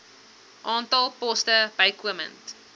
aantal poste bykomend